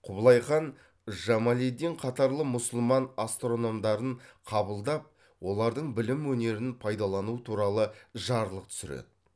құбылайхан жамалиддин қатарлы мұсылман астрономдарын қабылдап олардың білім өнерін пайдалану туралы жарлық түсіреді